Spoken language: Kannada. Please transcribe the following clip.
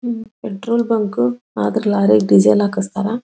ಉಹ್ ಪೆಟ್ರೋಲ್ ಬಂಕ್ ಆದ್ರೆ ಲಾರಿಗೆ ಡಿಸೇಲ್ ಹಾಕಿಸ್ತಾರ.